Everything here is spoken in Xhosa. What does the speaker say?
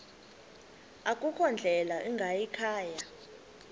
akukho ndlela ingayikhaya